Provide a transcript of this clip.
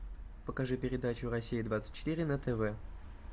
покажи передачу россия двадцать четыре на тв